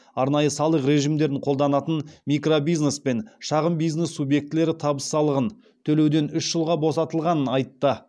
арнайы салық режимдерін қолданатын микробизнес пен шағын бизнес субъектілері табыс салығын төлеуден үш жылға босатылғанын айтты